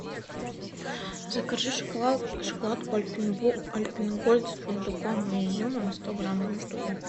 закажи шоколадку альпен гольд с фундуком и изюмом сто грамм одну штуку